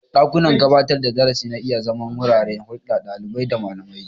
Dakunan gabatar da darasi na iya zama wuraren hulɗar ɗalibai da malamai.